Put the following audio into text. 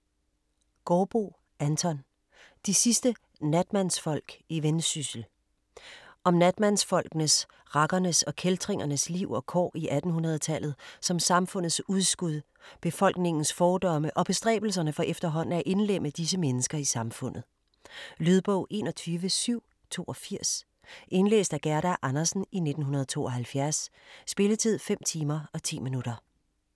Gaardboe, Anton: De sidste natmandsfolk i Vendsyssel Om natmandsfolkenes, rakkernes og kæltringernes liv og kår i 1800-tallet som samfundets udskud, befolkningens fordomme og bestræbelserne for efterhånden at indlemme disse mennesker i samfundet. Lydbog 21782 Indlæst af Gerda Andersen, 1972. Spilletid: 5 timer, 10 minutter.